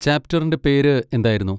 ചാപ്റ്ററിന്റെ പേര് എന്തായിരുന്നു?